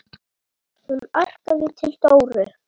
Hún arkaði til Dóru.